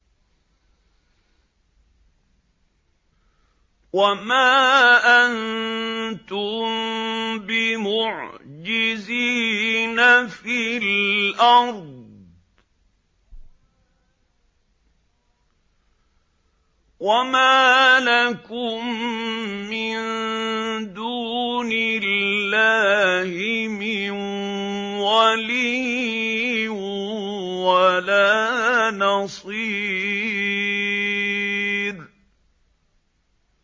وَمَا أَنتُم بِمُعْجِزِينَ فِي الْأَرْضِ ۖ وَمَا لَكُم مِّن دُونِ اللَّهِ مِن وَلِيٍّ وَلَا نَصِيرٍ